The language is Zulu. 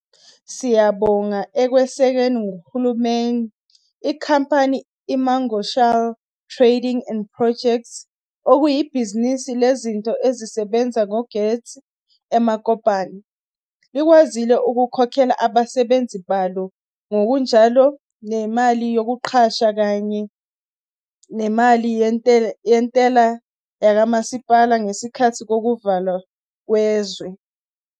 Siyabonga ekwesekweni nguhulumeni, inkampani i-Mamoshalagae Trading and Projects, okuyibhizinisi lezinto ezisebenza ngogesi e-Mokopane, likwazile ukukhokhela abasebenzi balo ngokunjalo nemali yokuqasha kanye nemali yentela yakamasipala ngesikhathi sokuvalwa kwezwe.